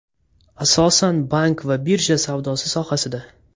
Asosan bank va birja savdosi sohasida.